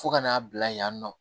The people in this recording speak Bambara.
Fo ka n'a bila yen nɔ